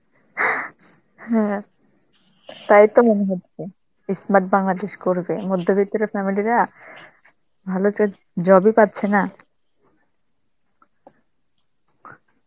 হ্যাঁ, তাই তো মনে হচ্ছে. ই smart Bangladesh করবে, মধ্যবিত্তর family রা ভালো চ~ job ই পাচ্ছে না,